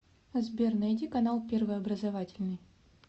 сбер найди канал первый образовательный